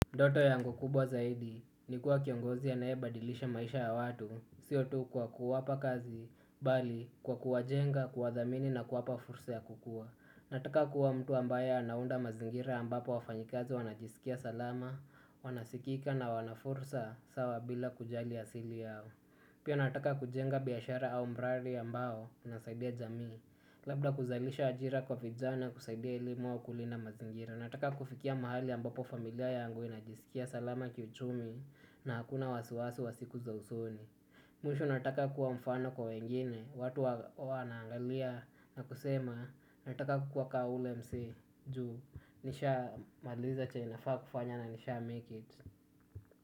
Ndoto yangu kubwa zaidi ni kuwa kiongozi ya anaebadilisha maisha ya watu siyo tu kwa kuwapa kazi, bali kwa kuwajenga, kuwathamini na kuwapa fursa ya kukua nataka kuwa mtu ambae anaunda mazingira ambapo wafanyakazi wanajisikia salama, wanasikika na wana fursa sawa bila kujali asili yao pia nataka kujenga biashara au mradi ambao unasaidia jamii labda kuzalisha ajira kwa vijana kusaidia elimu au kulinda mazingira nataka kufikia mahali ambapo familia yangu inajisikia salama kiuchumi na hakuna wasiwasi wa siku za usoni. Mwisho nataka kuwa mfano kwa wengine. Watu wana angalia na kusema nataka kukua ka ule msee juu. Nisha maliza chenye nafaa kufanya na nisha make it.